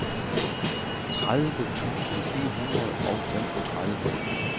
tredive tusind fire hundrede og femogtredive